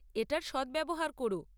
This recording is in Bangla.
এটার সদ্ব্যবহার করো।